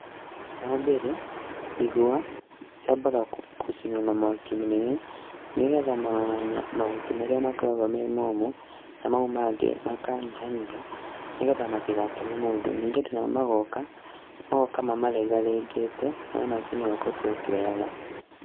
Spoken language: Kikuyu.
Wa mbere ĩgwa cĩambaga gũcinwo na mwaki mũnene, nĩgetha mahuti marĩa makoragwo me momũ na mau mangĩ makanyihanyiha, nĩgetha matĩgateme mũndũ, ningĩ andũ nao magoka, magoka mamarengarengete nayo macini ĩgatua ĩkioyaga.